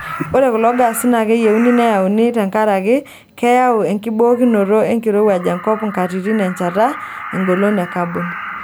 Ore kulo gaasi naa keyieuni neyauni tenkaraki keyau enkibookinoto enkirowuaj enkop nkatitin enchata engolon e kabon.